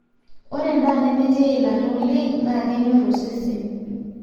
ore endaa nemetii eilata oleng naa kenyor osesen